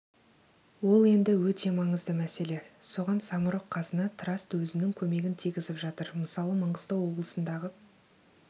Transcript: ол енді өте маңызды мәселе соған самұрық-қазына траст өзінің көмегін тигізіп жатыр мысалы маңғыстау облысындағы